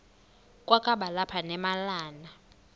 kwakaba lapha nemalana